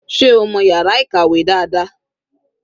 Sé o mọ̀ yàrá ìkàwé dáadáa?